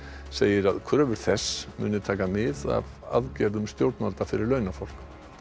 segir að kröfur þess muni taka mið af aðgerðum stjórnvalda fyrir launafólk